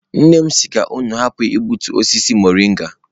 Nne m si ka unu hapụ igbutu osisi mọrịnga.